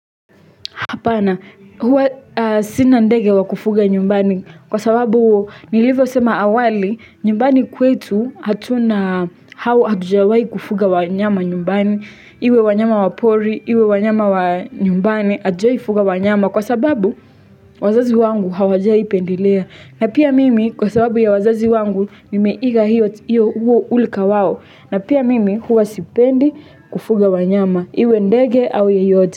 Apana, huwa sinandege wa kufuga nyumbani kwa sababu nilivyo sema awali nyumbani kwetu hatuna hao hatujawai kufuga wanyama nyumbani, iwe wanyama wapori, iwe wanyama wanyumbani hutujaifuga wanyama kwa sababu wazazi wangu hawajai pendelea. Na pia mimi kwa sababu ya wazazi wangu nimeiga hiyo huo ulika wao na pia mimi huwa sipendi kufuga wanyama iwe ndege au yeyote.